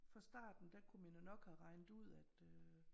Fra starten der kunne man jo nok have regnet ud at øh